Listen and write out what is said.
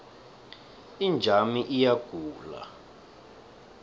inja yami iyagula